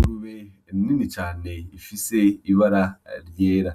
Ingurube nini cane ifise ibara ryera,